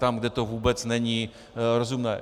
Tam, kde to vůbec není rozumné.